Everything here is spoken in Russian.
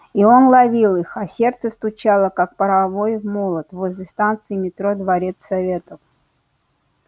и он ловил их а сердце стучало как паровой молот возле станции метро дворец советов